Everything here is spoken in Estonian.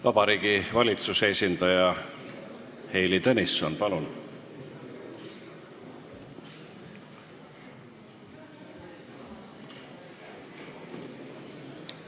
Vabariigi Valitsuse esindaja Heili Tõnisson, palun!